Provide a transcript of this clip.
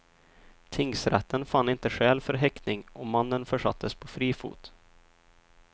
Tingsrätten fann inte skäl för häktning och mannen försattes på fri fot.